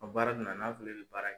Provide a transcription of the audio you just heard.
baara donna n'a fileli bɛ baara kɛ.